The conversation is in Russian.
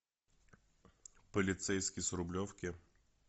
полицейский с рублевки